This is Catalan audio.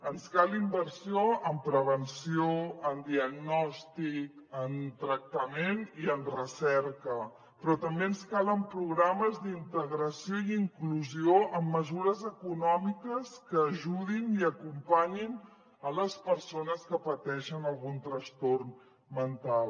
ens cal inversió en prevenció en diagnòstic en tractament i en recerca però també ens calen programes d’integració i inclusió amb mesures econòmiques que ajudin i acompanyin les persones que pateixen algun trastorn mental